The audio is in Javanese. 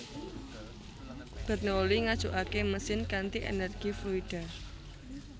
Bernoulli Ngajukake mesin kanthi energi fluida